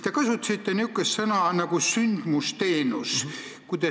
Te kasutasite niisugust sõna nagu "sündmusteenus".